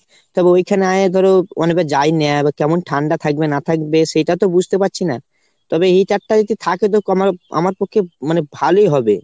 তবে ওইখানে যাই নিয়ে কেমন ঠান্ডা থাকবে না থাকবে সেটা তো বুঝতে পারছি না। তবে heater টা যদি থাকে তো আমা~ আমার পক্ষে মানে ভালোই হবে।